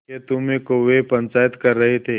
खेतों में कौए पंचायत कर रहे थे